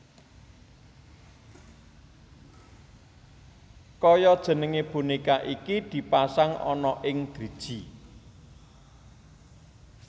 Kaya jenenge boneka iki dipasang ana ing driji